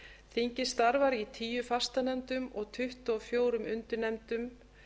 þingið starfar í tíu fastanefndum og tuttugu og fjögur undirnefndum